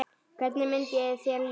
Hvernig myndi þér líða?